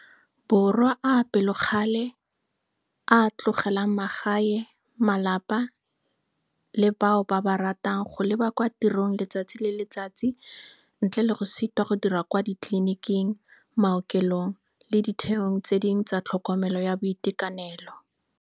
Borwa a a pelokgale, a a tlogelang magae, malapa le bao ba ba ratang go leba kwa tirong letsatsi le letsatsi ntle le go sitwa go dira kwa ditleliniking, maokelong le ditheong tse dingwe tsa tlhokomelo ya boitekanelo.